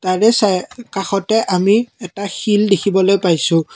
তাৰে চাই কাষতে আমি এটা শিল দেখিবলৈ পাইছোঁ।